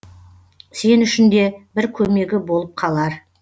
сен үшін де бір көмегі болып қалар